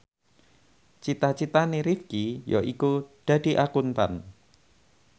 cita citane Rifqi yaiku dadi Akuntan